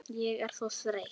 Ég er svo þreytt